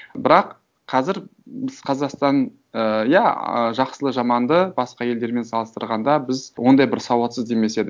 бірақ қазір біз қазақстан ыыы иә жақсылы жаманды басқа елдермен салыстырғанда біз ондай бір сауатсыз демес едім